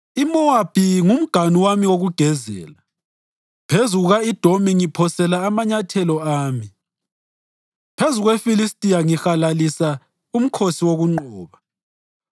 IMowabi ngumganu wami wokugezela, phezu kuka-Edomi ngiphosela amanyathelo ami; phezu kweFilistiya ngihalalisa umkhosi wokunqoba.”